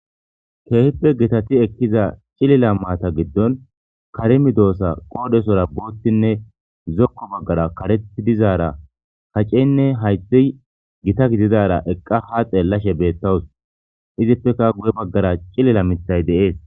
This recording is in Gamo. keehippe gitati ekkiza cilila maata giddon karimi doossa qoodesora boottinne zokko baggara kareti dizaara kaceynne hayde gita gididara eqqa ha xeellashe beettawus izippeka guye baggara cilila mitay deees